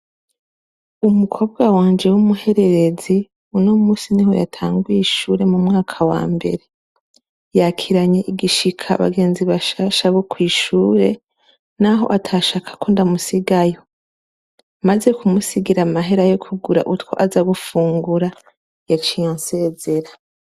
Umukobwa wanje w'umuhererezi uno munsi niho yatangwiye ishure mu mwaka wa mbere, yakiranye igishika bagenzi bashasha bo kw'ishure naho atashaka ko ndamusigayo, maze kumusigira amahera yo kugura utwo aza gufungura, yaciye ansezera.